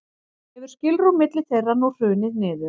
hefur skilrúm milli þeirra nú hrunið niður